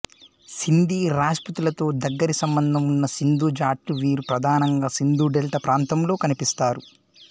సింధీ రాజ్పుతులతో దగ్గరి సంబంధం ఉన్న సింధు జాట్లు వీరు ప్రధానంగా సింధు డెల్టా ప్రాంతంలో కనిపిస్తారు